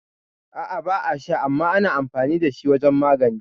A'a ba a sha, amma ana amfani dashi wajan magani